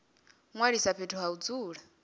ṅwalisa fhethu ha u dzula